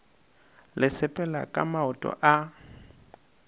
le sepela ka maoto a